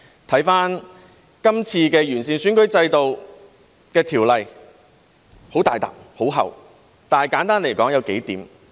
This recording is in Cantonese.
翻看今次完善選舉制度的《條例草案》，很大疊、很厚，但簡單來說有數點。